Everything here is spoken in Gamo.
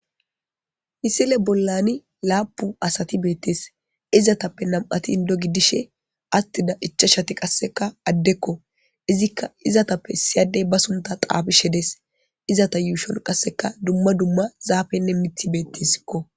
misile bollani laapu asati beettes izatappe nam7ati indo gidishe attida icha shati qasseka addekko izikka izatappe siyadey ba sunta xaafishe dees izata yuushon qasseka dumma dumma zaafenne mithi beettesikko